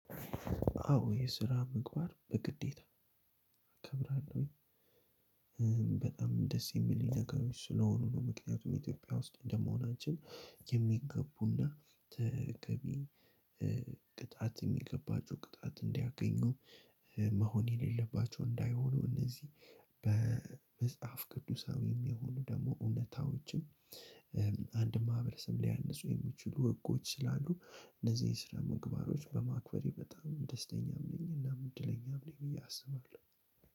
አዎ የስራ ምግባር በግዴታ አከብራለሁኝ በጣም ደስ የሚል ነገሮች ስለሆኑ ነው። ምክንያቱም ኢትዮጵያ ውስጥ እንደመሆናችን የሚገቡና ተገቢ ቅጣት የሚገባቸው ቅጣት እንዲያገኙ መሆን የሌለባቸው እንዳይሆኑ እነዚህ በመጽሐፍ ቅዱሳዊም የሆኑ ደግሞ እውነታዎችም። አንድ ማህበረሰብ ሊያንፁ የሚችሉ ህጎች ስላሉ እነዚህ የስራ ምግባሮች በማክበሬ በጣም ደስተኛም ነኝ። እናም እድለኛም ነኝ ብዬ አስባለሁ።